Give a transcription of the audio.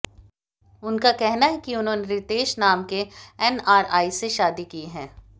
उनका कहना है कि उन्होंने रितेश नाम के एनआरआई से शादी की है